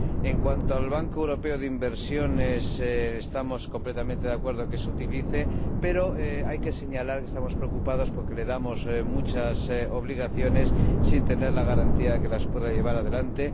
En cuanto al Banco Europeo de Inversiones, estamos completamente de acuerdo en que se recurra a él, pero hay que señalar que estamos preocupados porque le encomendamos muchas obligaciones sin tener la garantía de que las pueda llevar adelante.